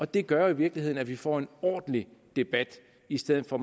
det gør jo i virkeligheden at vi får en ordentlig debat i stedet for